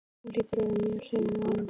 Hún hlýtur að vera mjög hrifin af honum.